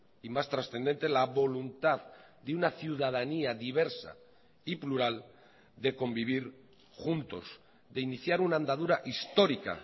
y más trascendente la voluntad de una ciudadanía diversa y plural de convivir juntos de iniciar una andadura histórica